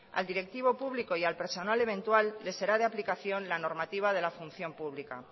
al directivo público y al personal eventual les será de aplicación la normativa de la función pública